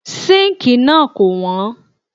Síǹkì náà kò wọ́n.